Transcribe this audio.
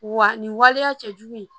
Wa nin waleya cɛ jugu in